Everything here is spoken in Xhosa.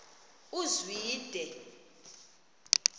uzwide